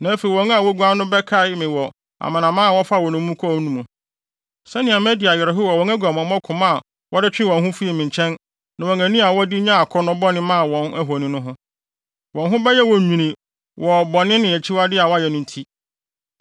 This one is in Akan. Na afei wɔn a woguan no bɛkae me wɔ amanaman a wɔfaa wɔn nnommum kɔɔ mu no, sɛnea madi awerɛhow wɔ wɔn aguamammɔ koma a wɔde twee wɔn ho fii me nkyɛn, ne wɔn ani a wɔde nyaa akɔnnɔ bɔne maa wɔn ahoni no ho. Wɔn ho bɛyɛ wɔn nwini wɔ bɔne ne akyiwade a wɔayɛ no nti.